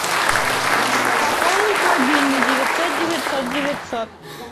пополнить мобильный девятьсот девятьсот девятьсот